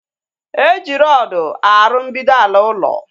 E ji rọdu arụ mbido ala ulo